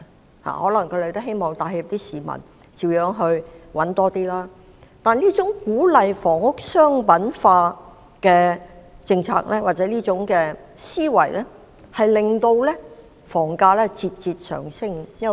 他們可能也想給市民帶來好處，讓市民多賺點錢，但這種鼓勵房屋商品化的政策或思維，卻令房價節節上升。